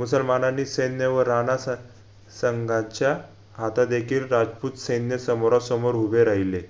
मुसलमानानी सैन्यवर रानासा संघाच्या हातदेखील राजपूत सैन्य समोरासमोर हुभे राहिले